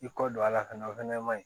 I kɔ don a la fɛnɛ o fɛnɛ ma ɲi